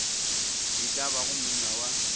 e ka bago monna wa